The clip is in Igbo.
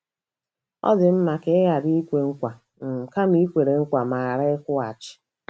Ọ dị mma ka i ghara ikwe nkwa um kama i kwere nkwa ma ghara ịkwụghachi. ”